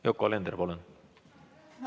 Yoko Alender, palun!